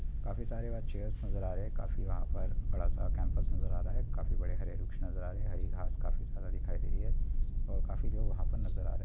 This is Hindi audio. काफी सारे वहाँ चेयर्स नजर आ रहे हैं काफी वहाँ पर बड़ा सा कैंपस नज़र आ रहा है काफी बड़े हरे वृक्ष नजर आ रहे है हरी घास काफी सारा दिखाई दे रही है और काफी लोग वहाँ पर नजर आ रहे हैं।